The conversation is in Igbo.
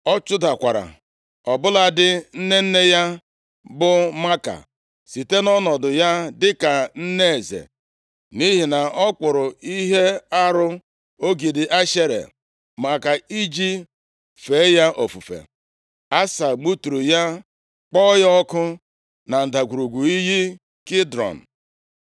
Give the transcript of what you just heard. Ọ chụdakwara ọbụladị nne nne ya bụ Maaka, site nʼọnọdụ ya dịka nne eze, nʼihi na ọ kpụrụ ihe arụ, ogidi Ashera maka iji fee ya ofufe. Asa gbuturu ya kpọọ ya ọkụ na ndagwurugwu iyi Kidrọn.